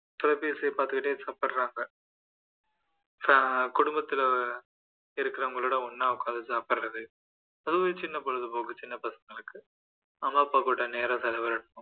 தொலைபேசியை பாத்துகிட்டே சாப்பிடுறாங்க குடும்பத்துல இருக்கிறவங்ககூட ஒண்ணா உட்கார்ந்து சாப்பிடுறது அது ஒரு சின்ன பொழுது போக்கு சின்ன பசங்களுக்கு அவங்க அப்பாகூட நேரம் செலவிடணும்